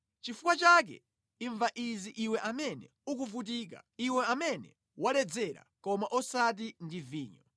Nʼchifukwa chake imva izi iwe amene ukuvutika, iwe amene waledzera, koma osati ndi vinyo.